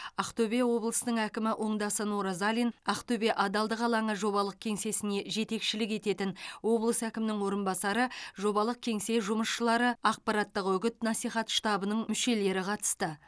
ақтөбе облысының әкімі оңдасын оразалин ақтөбе адалдық алаңы жобалық кеңсесіне жетекшілік ететін облыс әкімінің орынбасары жобалық кеңсе жұмысшылары ақпараттық үгіт насихат штабының мүшелері қатысты